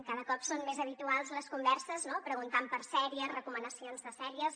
cada cop són més habituals les converses no preguntant per sèries recoma·nacions de sèries